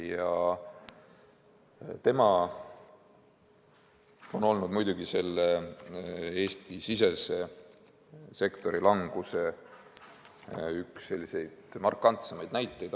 – ja tema on olnud selle Eesti-sisese sektori languse markantsemaid näiteid.